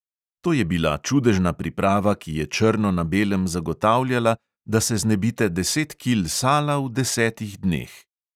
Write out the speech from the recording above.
To je bila čudežna priprava, ki je črno na belem zagotavljala, da se znebite deset kil sala v desetih dneh.